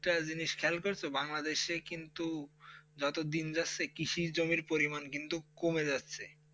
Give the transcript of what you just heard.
একটা জিনিস খেয়াল করেছ বাংলাদেশে কিন্তু যতদিন তার ক্রুসের জমি পরিমাণ কিন্তু কমে যাচ্ছে.